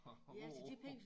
At gå på